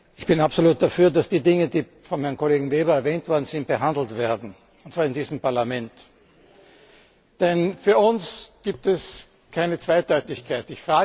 Ich bin absolut dafür, dass die Dinge, die von Herrn Kollegen Weber erwähnt worden sind, behandelt werden und zwar in diesem Parlament, denn für uns gibt es keine Zweideutigkeit.